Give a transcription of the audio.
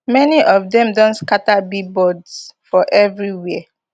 many of dem don scatter billboards for everiwia